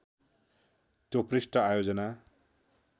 त्यो पृष्ठ आयोजना